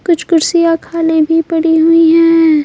कुछ कुर्सियां खाली भी पड़ी हुई है।